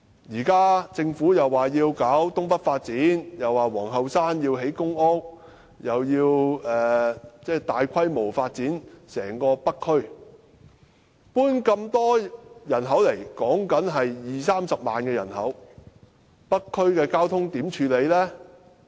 現時政府說要搞東北發展，又說要在皇后山興建公屋，又要大規模發展整個北區，遷進那麼多人口，說的是二三十萬人口，北區的交通問題如何處理呢？